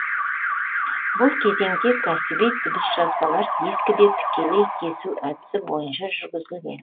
бұл кезеңде кәсіби дыбыс жазбалар дискіде тікелей кесу әдісі бойынша жүргізілген